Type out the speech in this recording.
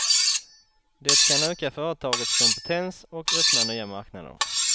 Det kan öka företagets kompetens och öppna nya marknader.